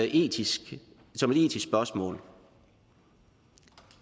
etisk spørgsmål